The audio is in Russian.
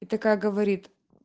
и такая говорит